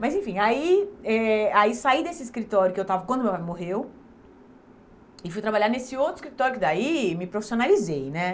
Mas enfim, aí eh aí saí desse escritório que eu estava quando meu pai morreu e fui trabalhar nesse outro escritório que daí me profissionalizei, né?